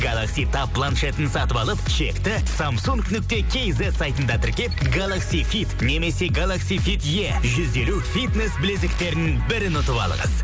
галакси таб планшетін сатып алып чекті самсунг нүкте кейзет сайтында тіркеп галакси фит немесе галакси фит е жүз елу фитнес білезіктерінің бірін ұтып алыңыз